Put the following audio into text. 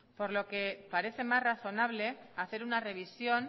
por lo que parece más razonable hacer una revisión